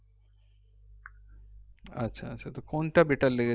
আচ্ছা আচ্ছা তো কোনটা better লেগেছে